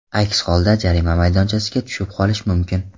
Aks holda jarima maydonchasiga tushib qolish mumkin.